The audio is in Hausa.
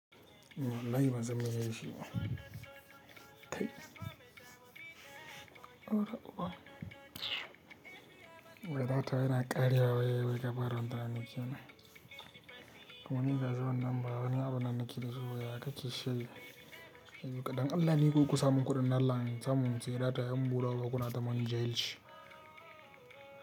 Wallahi ban san me zan shi ba. Wai data yana karewa wai gaba ranta na cewa. Kamuninsu za su wanan ba wani abu na naki da su waye aka ci shayi. Yanzu kaɗan Allah ne ku kusan mun kuɗin Allah an samu mu ce data yan bura u bu kuna tamana jail shi.